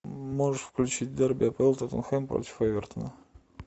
можешь включить дерби апл тоттенхэм против эвертона